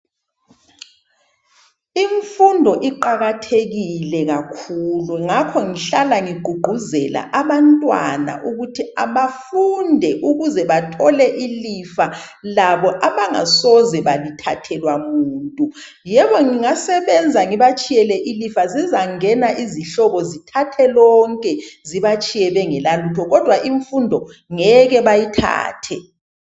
Imfundo iqakathekile kakhulu ngakho ngihlala ngigqugquzela abantwana ukuthi abafunde ukuze abathole ilifa labo abangasoze balithathelwa muntu, yebo ngingasebenza ngibatshiyele ilifa, zizangena izihlobo zithathe lonke zibatshiye bengela lutho kodwa imfundo ngeke bayithathe.